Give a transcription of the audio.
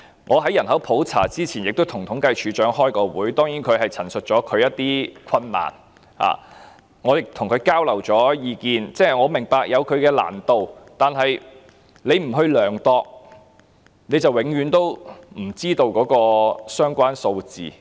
我在人口普查前亦曾與政府統計處處長開會，當然他陳述了他的一些困難，我亦與他交流意見，我明白這項工作有難度，但處方不去統計，便永遠不知道相關的數字。